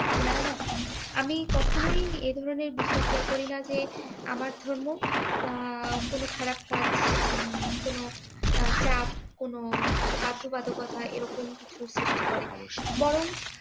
না না আমি কখনোই এই ধরনের বিশ্বাস এই করি না যে আমার ধর্ম আহ কোন খারাপ কাজ উম কোন চাপ কোন বাধ্যবাধকতা এরকম কিছু সৃষ্টি করে বরং